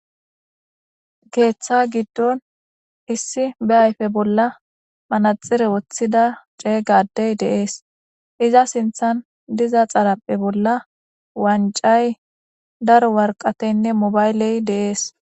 keeththa giddon issi be ayfe bolla manaxire woththida cee gadey deees iza sinthan diza xarapphe bolla wancay daro warqateynne mobayley deees